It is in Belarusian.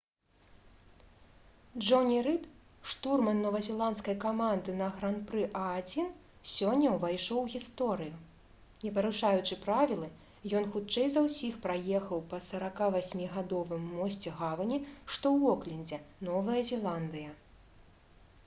джоні рыд штурман новазеландскай каманды на гран-пры а1 сёння ўвайшоў у гісторыю не парушаючы правілы ён хутчэй за ўсіх праехаў па 48-гадовым мосце гавані што ў оклендзе новая зеландыя